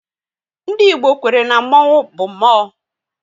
Ndị Igbo kwere na mmonwu bụ mmụọ